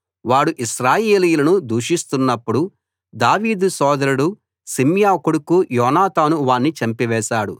వాడు ఇశ్రాయేలీయులను దూషిస్తున్నప్పుడు దావీదు సోదరుడు షిమ్యా కొడుకు యోనాతాను వాణ్ణి చంపివేశాడు